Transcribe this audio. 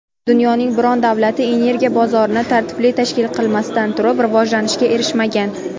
Dunyoning biron davlati energiya bozorini tartibli tashkil qilmasdan turib rivojlanishga erishmagan.